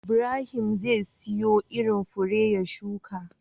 Ibrahim zai siyo irin fure ya shuka